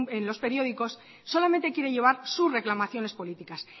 en los periódicos solamente quiere llevar sus reclamaciones políticas